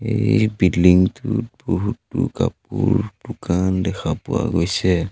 এই বিল্ডিং টোত বহুতো কাপোৰ দোকান দেখা পোৱা গৈছে।